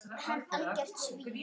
segir þetta um lýting